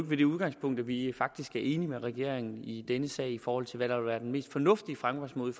ved det udgangspunkt at vi faktisk er enige med regeringen i denne sag i forhold til hvad der vil være den mest fornuftige fremgangsmåde